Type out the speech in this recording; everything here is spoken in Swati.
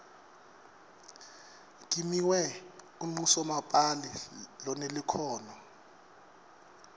kimiwe unqusomapali lonelukhono